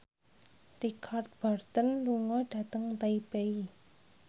Richard Burton lunga dhateng Taipei